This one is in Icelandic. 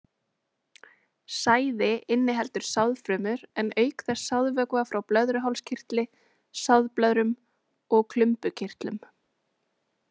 Sæði inniheldur sáðfrumur en auk þess sáðvökva frá blöðruhálskirtli, sáðblöðrum og klumbukirtlum.